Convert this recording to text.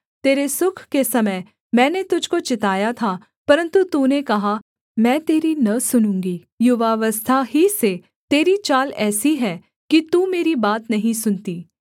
तेरे सुख के समय मैंने तुझको चिताया था परन्तु तूने कहा मैं तेरी न सुनूँगी युवावस्था ही से तेरी चाल ऐसी है कि तू मेरी बात नहीं सुनती